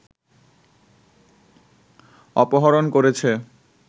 অপহরণ করেছে